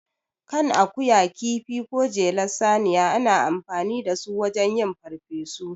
Kan akuya, kifi, ko jelar saniya, ana amfani da su wajen yin farfesu.